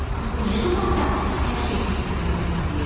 “Axı niyə dumanda hər şey bir-birinə bənzəyir?”